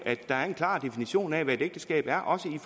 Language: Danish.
er en klar definition af hvad et ægteskab er også i